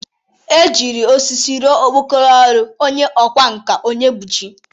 E jiri osisi rọ okpokoro ọrụ onye ọkwa nka Onyebụchi.